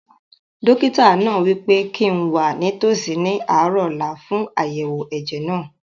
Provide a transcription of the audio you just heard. Dókítà náà wí pé kíi n wà nítòsí ní àárọ̀ ọ̀la fún àyẹ̀wò ẹ̀jẹ̀ náà